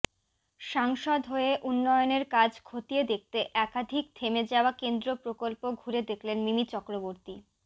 সাংসদ হয়ে উন্নয়নের কাজ খতিয়ে দেখতে একাধিক থেমে যাওয়া কেন্দ্র প্রকল্প ঘুরে দেখলেন মিমি চক্রবর্তী